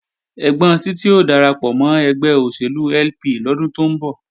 Ẹ́gbọ́n Títí ó darapọ̀ mọ́ ẹgbẹ́ òṣèlú LP lọ́dún tó ń bọ̀